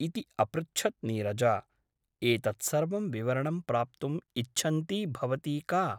इति अपृच्छत् नीरजा । एतत्सर्वं विवरणं प्राप्तुम् इच्छन्ती भवती का ?